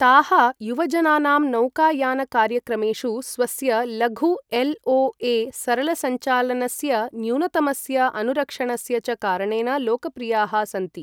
ताः युवजनानां नौकायानकार्यक्रमेषु स्वस्य लघु एल्.ओ.ए., सरलसञ्चालनस्य, न्यूनतमस्य अनुरक्षणस्य च कारणेन लोकप्रियाः सन्ति।